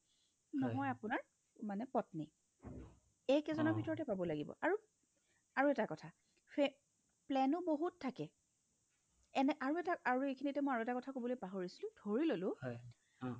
নহয় আপোনাৰ মানে পত্নী এইকেজনৰ ভিতৰতে পাব লাগিব আৰু আৰু এটা কথা ফে plan ও বহুত থাকে এনে আৰু এটা আৰু এইখিনিতে মই আৰু এটা কথা ক'বলৈ পাহৰিছিলো ধৰিললো